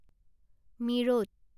মীৰোত